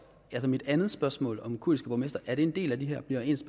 er mit andet spørgsmål om kurdiske borgmestre en del af det her bliver ens